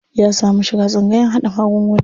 Ya samu shiga tsangayan haɗa magunguna.